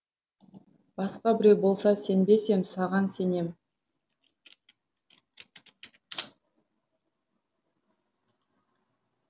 басқа біреу болса сенбес ем саған сенем